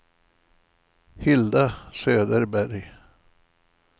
Hilda Söderberg